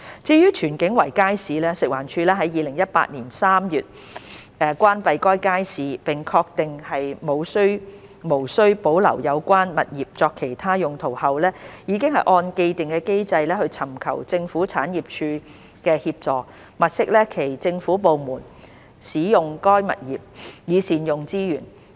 至於荃景圍街市，食環署於2018年3月關閉該街市並確定無須保留有關物業作其他用途後，已按既定機制尋求政府產業署協助，物色其他政府部門使用該物業，以善用資源。